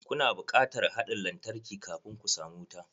Ku na bukatar haɗin lantarki kafun ku samu wuta.